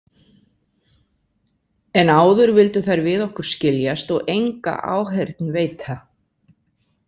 En áður vildu þær við okkur skiljast og enga áheyrn veita.